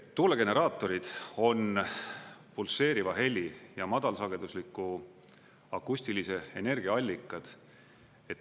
Tuulegeneraatorid on pulseeriva heli ja madalsagedusliku akustilise energia allikad.